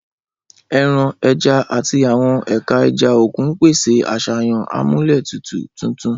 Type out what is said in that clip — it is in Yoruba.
Ẹran, ẹja, àti àwọn ẹ̀ka ẹja òkun ń pèsè àṣàyàn amúlétutù tuntun.